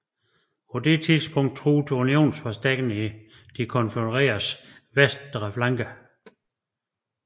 På dette tidspunkt truede unionsforstærkninger de konfødereredes venstre flanke